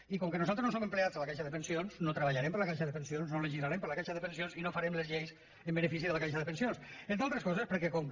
i com que nosaltres no som empleats de la caixa de pensions no treballarem per a la caixa de pensions no legislarem per a la caixa de pensions i no farem les lleis en benefici de la caixa de pensions entre altres coses perquè com que